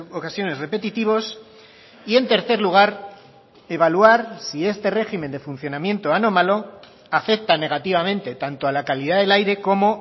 ocasiones repetitivos y en tercer lugar evaluar si este régimen de funcionamiento anómalo afecta negativamente tanto a la calidad del aire como